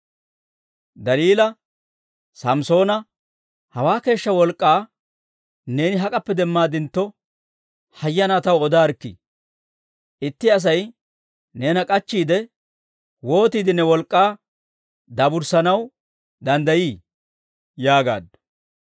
Daliila Samssoona, «Hawaa keeshshaa wolk'k'aa neeni hak'appe demmaadintto, hayyanaa taw odaarikkii! Itti Asay neena k'achchiide, wootiide ne wolk'k'aa daaburssanaw danddayii?» yaagaaddu.